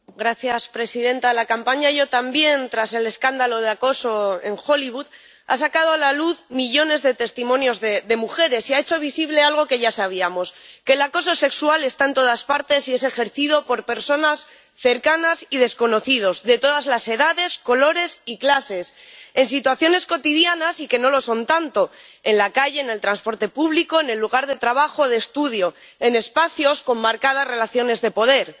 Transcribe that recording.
Señora presidenta, la campaña YoTambién, tras el escándalo de acoso en Hollywood, ha sacado a la luz millones de testimonios de mujeres y ha hecho visible algo que ya sabíamos, que el acoso sexual está en todas partes y es ejercido por personas cercanas y desconocidos de todas las edades, colores y clases, en situaciones cotidianas y que no lo son tanto, en la calle, en el transporte público, en el lugar de trabajo o de estudio, en espacios con marcadas relaciones de poder.